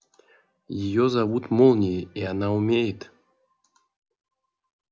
её зовут молнией и она умеет